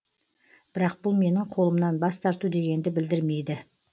бірақ бұл менің қолымнан бас тарту дегенді білдірмейді